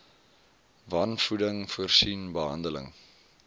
wanvoeding voorsien behandeling